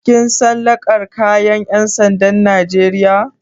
Kin san kalar kayan ƴan sandan Najeriya.